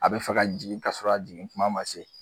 A bi fɛ ka jigin ka sɔrɔ a jigin kuma ma se